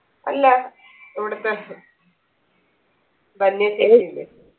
അല്ല ഇവിടുത്തെ ധന്യ ചേച്ചിയില്ലേ